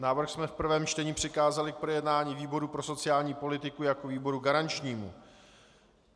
Návrh jsme v prvém čtení přikázali k projednání výboru pro sociální politiku jako výboru garančnímu.